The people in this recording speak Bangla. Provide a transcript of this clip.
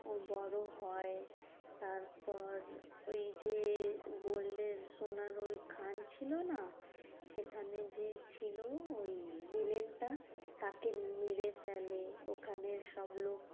ও বড় হয় তারপর ওই যে gold এর সোনার ওই খান ছিল না? সেখানে যে ছিল ওই villain টা তাকে মেরে ফেলে। ওখানের সব লোক